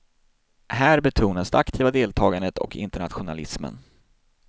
Här betonas det aktiva deltagandet och internationalismen.